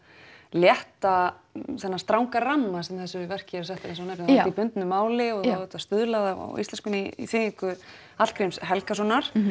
létta þennan stranga ramma sem að þessu verki eru settir er í bundnu máli og stuðlað á íslenskunni í þýðingu Hallgríms Helgasonar